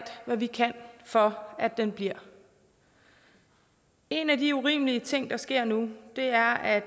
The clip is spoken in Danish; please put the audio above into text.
hvad vi kan for at den bliver en af de urimelige ting der sker nu er at